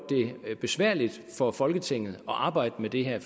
det besværligt for folketinget at arbejde med det her